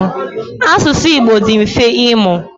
Asụsụ Igbo dị mfe ịmụ.